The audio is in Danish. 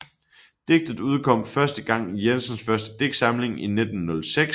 Digtet udkom første gang i Jensens første digtsamling fra 1906